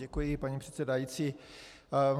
Děkuji, paní předsedající.